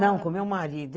Não, com o meu marido.